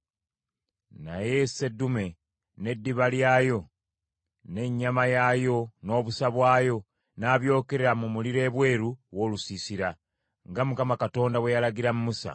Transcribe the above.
Naye seddume, n’eddiba lyayo, n’ennyama yaayo, n’obusa bwayo, n’abyokera mu muliro ebweru w’olusiisira, nga Mukama bwe yalagira Musa.